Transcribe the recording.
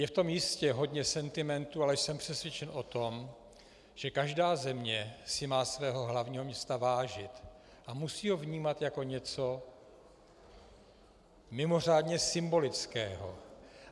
Je v tom jistě hodně sentimentu, ale jsem přesvědčen o tom, že každá země si má svého hlavního města vážit a musí ho vnímat jako něco mimořádně symbolického.